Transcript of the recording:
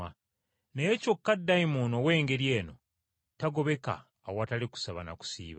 Naye kyokka dayimooni ow’engeri eno tagobeka awatali kusaba na kusiiba.”